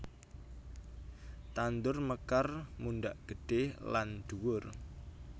Tandur mekar mundhak gedhe lan dhuwur